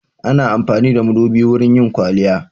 Ana amfani da madubi wurin yin kwaliya.